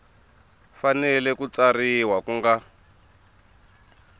fanele ku tsarisiwa ku nga